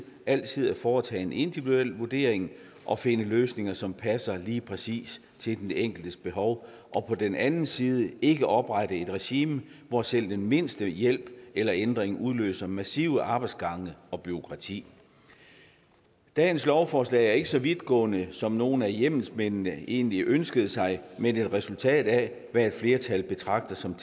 altid at foretage en individuel vurdering og finde løsninger som passer lige præcis til den enkeltes behov og på den anden side ikke at oprette et regime hvor selv den mindste hjælp eller ændring udløser massive arbejdsgange og massivt bureaukrati dagens lovforslag er ikke så vidtgående som nogle af hjemmelsmændene egentlig ønskede sig men et resultat af hvad et flertal betragter som